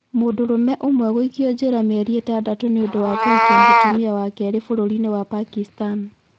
Mũndũrũme ũmwe gũikio njera mĩeri itandatũ nĩ ũndũ wa kũhikia mũtumia wa kerĩ bũrũri-inĩ wa Pakistan